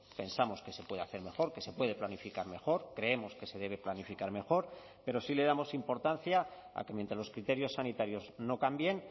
pensamos que se puede hacer mejor que se puede planificar mejor creemos que se debe planificar mejor pero sí le damos importancia a que mientras los criterios sanitarios no cambien